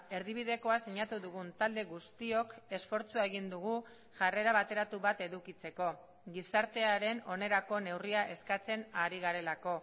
erdibidekoa sinatu dugun talde guztiok esfortzua egin dugu jarrera bateratu bat edukitzeko gizartearen onerako neurria eskatzen ari garelako